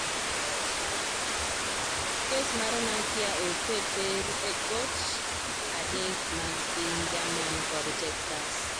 Kes mar Nokia oseter e kot adek mag piny Jerman kod Texas.